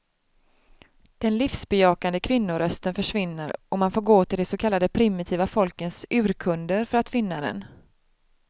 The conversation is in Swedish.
Den livsbejakande kvinnorösten försvinner och man får gå till de så kallade primitiva folkens urkunder för att finna den.